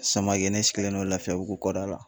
Samake ne sigilen don lafiyabugu kɔda la